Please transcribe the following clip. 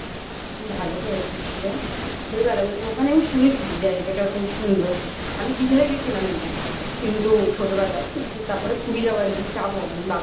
ভালো করেছিস রে খুবই ভালো করেছিস ওখানে আমি শুনেছি যে জায়গাটা খুব সুন্দর. আমি দিঘায় গেছিলাম এমনি. কিন্তু ছোটবেলায়. কিন্তু তারপরে পুরী যাওয়ার নেই. যাবো.